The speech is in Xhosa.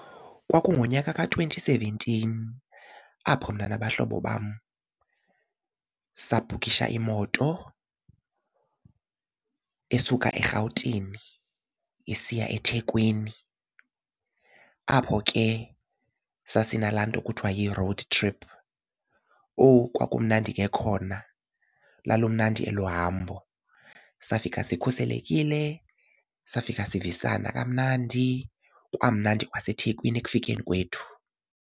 Kwakungunyaka ka-twenty seventeen apho mna nabahlobo bam sabhukhisha imoto esuka eRhawutini isiya eThekwini, apho ke sasinalaa nto kuthiwa yi-road trip. Owu kwakumnandi ke khona, lalumnandi elo hambo. Safika sikhuselekile, safika sivisana kamnandi kwamnandi kwaseThekwini ekufikeni kwethu.